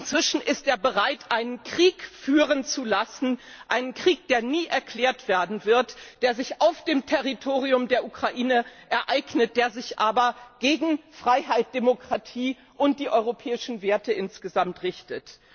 Inzwischen ist er bereit, einen Krieg führen zu lassen, einen Krieg, der nie erklärt werden wird, der sich auf dem Territorium der Ukraine ereignet, der sich aber gegen Freiheit, Demokratie und die europäischen Werte insgesamt richtet.